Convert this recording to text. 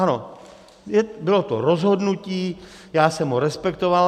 Ano, bylo to rozhodnutí, já jsem ho respektoval.